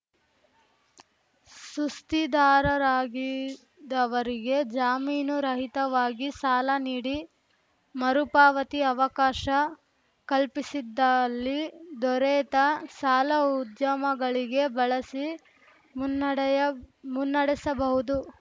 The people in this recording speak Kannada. ಸುಸ್ತಿದಾರರಾಗಿದವರಿಗೆ ಜಾಮೀನು ರಹಿತವಾಗಿ ಸಾಲ ನೀಡಿ ಮರುಪಾವತಿ ಅವಕಾಶ ಕಲ್ಪಿಸಿದ್ದಲ್ಲಿ ದೊರೆತ ಸಾಲ ಉದ್ಯಮಗಳಿಗೆ ಬಳಸಿ ಮುನ್ನಡೆಯ ಮುನ್ನಡೆಸಬಹುದು